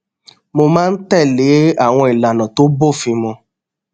mo máa ń tèlé àwọn ìlànà tó bófin mu